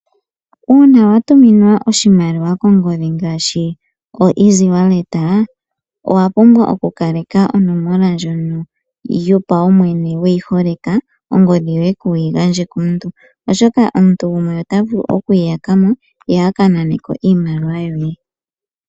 Uuna watuminwa oshimaliwa kongodhi ngaashi easy wallet oto vulu oku kaleka onomola ndjoka yopaumwene weyi holeka ongodhi yoye kuyi gandje komuntu. Oshoka omuntu gumwe ota vulu okuyi yakamo ye aka naneko iimaliwa yoye.